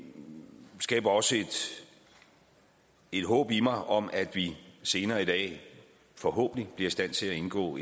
skaber også et håb i mig om at vi senere i dag forhåbentlig bliver i stand til at indgå